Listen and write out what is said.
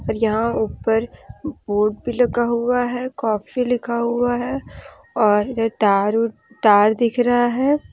यहां ऊपर बोर्ड भी लगा हुआ है कॉफ़ी लिखा हुआ है और तार तार दिख रहा है।